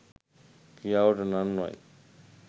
ක්‍රියාවට නංවයි